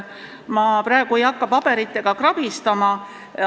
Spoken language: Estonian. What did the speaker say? Ma praegu ei hakka paberitega krabistama.